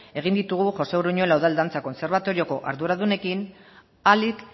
egin ditugu josé uruñuela udal dantza kontserbatorioko arduradunekin ahalik